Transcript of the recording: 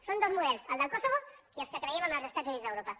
són dos models el del kosovo i els que creiem en els estats units d’europa